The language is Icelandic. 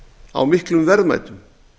á miklum verðmætum